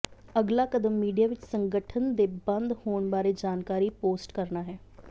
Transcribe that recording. ਅਗਲਾ ਕਦਮ ਮੀਡੀਆ ਵਿਚ ਸੰਗਠਨ ਦੇ ਬੰਦ ਹੋਣ ਬਾਰੇ ਜਾਣਕਾਰੀ ਪੋਸਟ ਕਰਨਾ ਹੈ